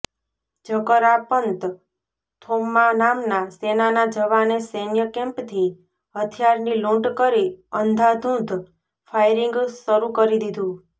જકરાપંત થોમ્મા નામના સેનાના જવાને સૈન્ય કેમ્પથી હથિયારની લૂંટ કરી અંધાધૂધ ફાયરિંગ શરૂ કરી દીધુ